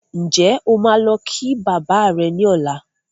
Ǹjẹ́ o máa lọ kí bàbá rẹ ní ọlá?